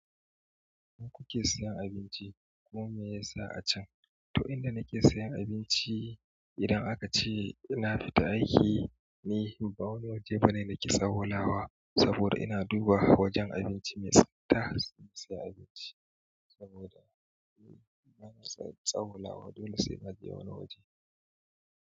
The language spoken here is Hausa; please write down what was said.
Kuke sayan abinci kuma meyasa a can? To inda nake sayan abinci idan aka ce ina fita aiki, ni ba wani waje ba ne nake tsawwa lawa saboda ina duba wajen abinci mai tsabta in saya abinci saboda ba na son tsawwa lawa. Dole sainaje wani waje.